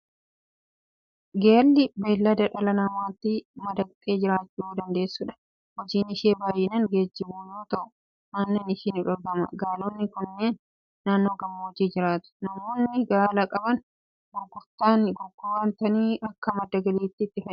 Gaalli bineelda dhala namaatti madaqxee jiraachuu dandeessudha. Hojiin ishii baay'inaan geejjibuu yoo ta'u, aannan ishii ni dhugama. Gaalonni kunneen naannoo gammoojjii jiraatu. Namoonni gaala qaban gurguratanii akka madda galiitti itti fayyadamu.